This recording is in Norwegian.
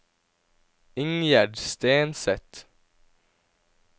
Ingjerd Stenseth